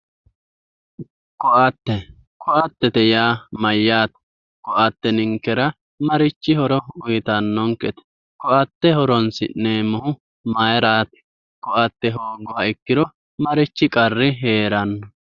koatte koatte yaa mayyaate? koatte ninkera marichi horo uyiitannonkete? koatte horonsi'neemmohu mayiiraati? koatte hoogguha ikkiro marichi qarri heeranno?